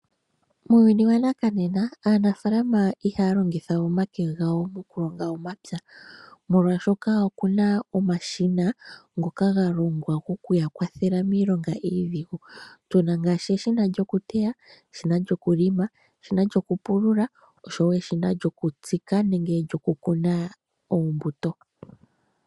Muuyuni wanakanena aanafalama ihaya longitha omake gawo mokulonga omapya molwaashoka oku naomashina ngoka ga longwa okuya kwathela miilonga iidhigu, tu na ngaashi eshina lyokuteya, eshina lyokulima, eshina lyokupulula oshowo eshina lyokutsika nenge lyokukuna oombuto.